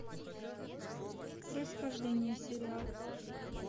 происхождение сериал